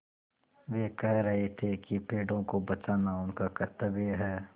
वे कह रहे थे कि पेड़ों को बचाना उनका कर्त्तव्य है